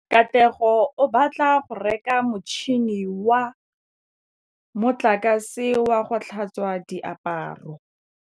Katlego o batla go reka motšhine wa motlakase wa go tlhatswa diaparo.